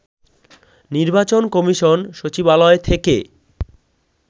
নির্বাচন কমিশন সচিবালয় থেকে